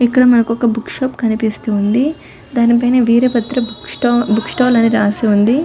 ఇక్కడ మనకోక book shop కనిపిస్తూ ఉంది. ధని మధ్య వీర బద్ర బుక్‌స్టాల్ అని రాసి ఉంది.